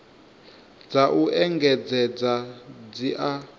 dza u engedzedza dzi a